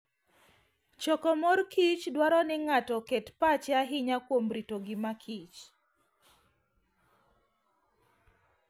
Choko mor kich dwaro ni ng'ato oket pache ahinya kuom rito ngimakich